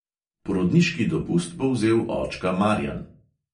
Porodniški dopust bo vzel očka marjan.